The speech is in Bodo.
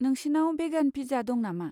नोंसिनाव भेगान पिज्जा दं नामा?